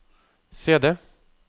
CD